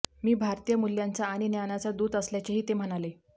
मी भारतीय मूल्यांचा आणि ज्ञानाचा दूत असल्याचेही ते म्हणाले